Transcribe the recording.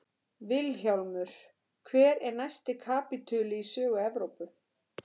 VILHJÁLMUR: Hver er næsti kapítuli í sögu Evrópu?